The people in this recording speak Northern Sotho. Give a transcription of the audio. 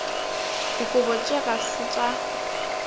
dikobo tše ga se tša